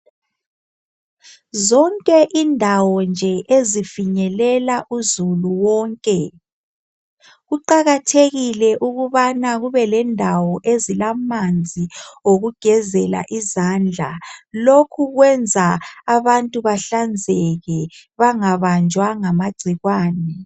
Zonke indawo nje ezifinyelela uzulu wonke kuqakathekile ukubana kube lendawo ezilamanzi okugezela izandla lokhu kwenza abantu bahlanzeke bangabanjwa ngamagcikwane.